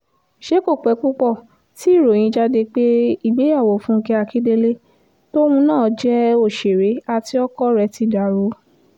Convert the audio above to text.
ṣé kò pẹ́ púpọ̀ tí ìròyìn jáde pé ìgbéyàwó fúnkẹ́ akíndélé tóun náà jẹ́ òṣèré àti ọkọ rẹ̀ ti dàrú